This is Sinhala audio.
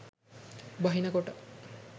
බහින කොට